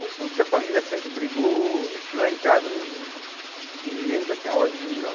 Com tudo que a família sempre brigou, acho que lá em casa hum ninguém nunca tinha ódio de mim, não.